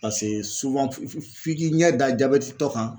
Pase suwan f'i f'i k'i ɲɛ da jabɛtitɔ kan